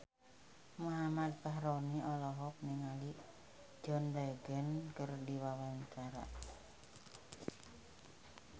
Muhammad Fachroni olohok ningali John Legend keur diwawancara